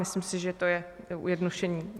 Myslím si, že to je zjednodušení.